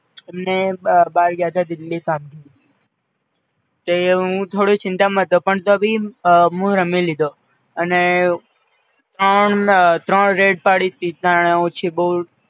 એમને બાર ગ્યાંતા દિલ્લી કામથી, તે હું થોડો ચીંતા માં હતો પણ તો ભી હું રમી લીધો, અને ત્રણ ત્રણ red પડી હતી ત્રણેય ઓછી બોવ